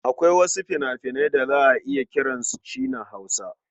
Akwai wasu fina-finan da za a iya kiran su China-Hausa.